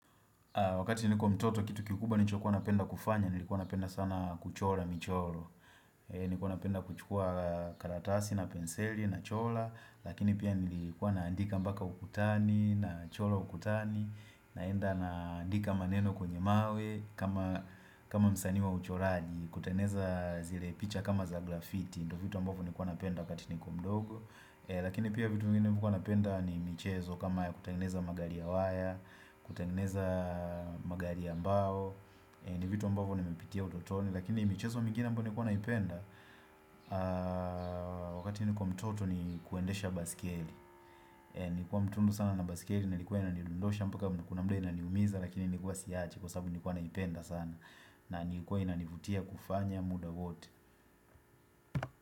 Wakati nilikuwa mtoto kitu kikubwa nilichokuwa napenda kufanya, nilikuwa napenda sana kuchora michoro. Nikuwa napenda kuchukua karatasi na penseli nachora, lakini pia nilikuwa naandika mpaka ukutani, nachora ukutani, naenda naandika maneno kwenye mawe kama msanii wa uchoraji kutengeza zile picha kama za grafiti. Ndo vitu ambavo nilikuwa napenda wakati nilikuwa mdogo lakini pia vitu vingine nilivyokuwa napenda ni michezo kama ya kutangeneza magari ya waya, kutengeneza magari ya mbao ni vitu ambavo nimepitia utotoni lakini michezo mingine ambayo nilikuwa napenda wakati nilikuwa mtoto ni kuendesha baiskeli. Nilikuwa mtundu sana na baiskeli na ilikuwa inanidondosha mpaka kuna muda inaniumiza lakini nikuwa siachi kwasasabu nilikuwa naipenda sana na ilikuwa inanivutia kufanya muda wote.